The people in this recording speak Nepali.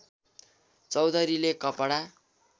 चौधरीले कपडा